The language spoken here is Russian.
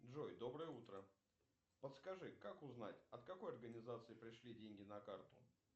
джой доброе утро подскажи как узнать от какой организации пришли деньги на карту